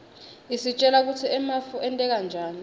isitjela kutsi emafu enteka njani